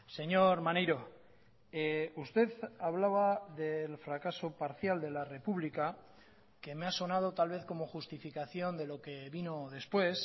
señor maneiro usted hablaba del fracaso parcial de la republica que me ha sonado tal vez como justificación de lo que vino después